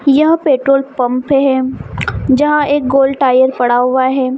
यह petrol pump है जहाँ एक गोल टायर पड़ा हुआ है।